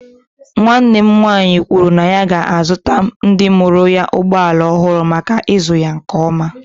Nwanne m nwaanyị kwuru na ya ga-azụta ndị mụrụ anyị ụgbọ ala ọhụrụ maka ịzụ ya nke ọma.